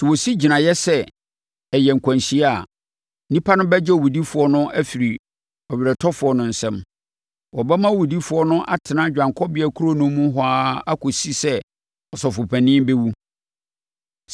Sɛ wɔsi gyinaeɛ sɛ ɛyɛ nkwanhyia a, nnipa no bɛgye owudifoɔ no afiri ɔweretɔfoɔ no nsam. Wɔbɛma owudifoɔ no atena Dwanekɔbea Kuro no mu hɔ ara akɔsi sɛ ɔsɔfopanin bɛwu.